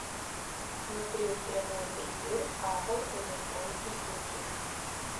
смотреть прямой эфир апл эвертон и сити